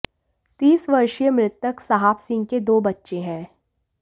तीस वर्षीय मृतक साहब सिंह के दो बच्चे हैं